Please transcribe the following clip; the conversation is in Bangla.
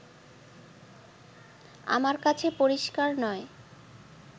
আমার কাছে পরিষ্কার নয়